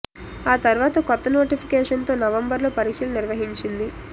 ఆ తర్వాత కొత్త నోటిఫికేషన్ తో నవంబర్ లో పరీక్షలు నిర్వహించింది